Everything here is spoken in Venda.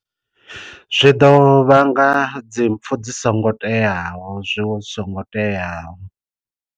Zwi ḓo vhanga dzi mpfu dzi songo teaho zwi wo zwi songo teaho.